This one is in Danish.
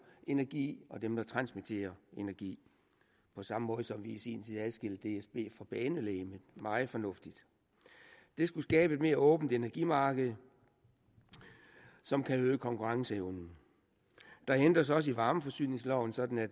energi og dem der transmitterer energi på samme måde som vi i sin tid adskilte dsb fra banelegemet meget fornuftigt det skulle skabe et mere åbent energimarked som kan øge konkurrenceevnen der ændres også i varmeforsyningsloven sådan at